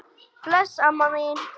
Bless, amma mín.